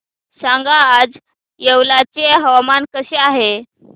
सांगा आज येवला चे हवामान कसे आहे